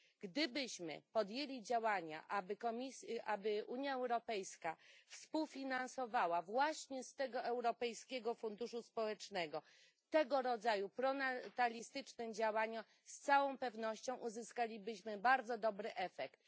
Gdybyśmy podjęli działania, aby Unia Europejska współfinansowała właśnie z Europejskiego Funduszu Społecznego tego rodzaju pronatalistyczne działania, z całą pewnością uzyskalibyśmy bardzo dobry efekt.